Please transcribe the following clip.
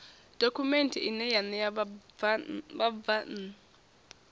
dokhumenthe ine ya ṋea vhabvann